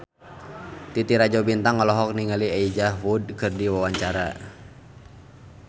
Titi Rajo Bintang olohok ningali Elijah Wood keur diwawancara